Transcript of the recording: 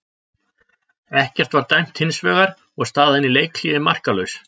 Ekkert var dæmt hins vegar og staðan í leikhléi markalaus.